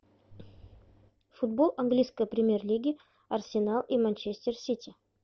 футбол английской премьер лиги арсенал и манчестер сити